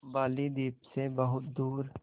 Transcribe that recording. बालीद्वीप सें बहुत दूर